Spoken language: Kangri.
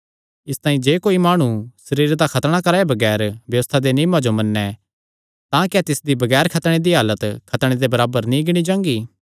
इसतांई जे कोई माणु सरीरे दा खतणा कराये बगैर व्यबस्था दे नियमां जो मन्नैं तां क्या तिसदी बगैर खतणे दी हालत खतणे दे बराबर नीं गिणी जांगी